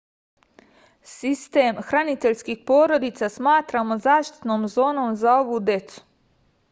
sistem hraniteljskih porodica smatramo zaštitnom zonom za ovu decu